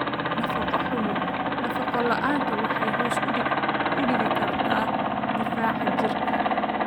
Nafaqo xumo: Nafaqo la'aanta waxay hoos u dhigi kartaa difaaca jirka.